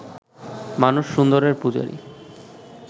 মানুষ সুন্দরের পূজারি